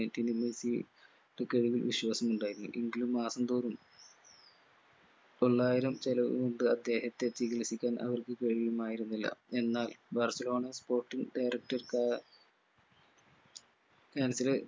Messi ടെ കഴിവിൽ വിശ്വാസമുണ്ടായിരുന്നു എങ്കിലും മാസം തോറും തൊള്ളായിരം ചെലവു കൊണ്ട് അദ്ദേഹത്തെ ചികിൽസിക്കാൻ അവർക്ക് കഴിയുമായിരുന്നില്ല എന്നാൽ ബർസലോണ spotting director ക അഹ്